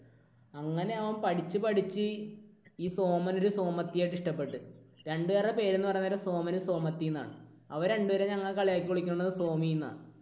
അങ്ങനെ അവൻ പഠിച്ചു പഠിച്ച് ഈ സോമൻ ഒരു സോമത്തി ആയിട്ട് ഇഷ്ടപ്പെട്ടു. രണ്ടുപേരുടെ പേര് എന്ന് പറയാൻ നേരം സോമനും സോമത്തി എന്നാണ്. അവർ രണ്ടുപേരെയും ഞങ്ങൾ കളിയാക്കി വിളിക്കുന്നത് സോമി എന്നാണ്.